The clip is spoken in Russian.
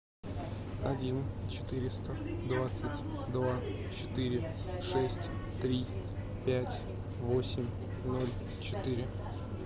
один четыреста двадцать два четыре шесть три пять восемь ноль четыре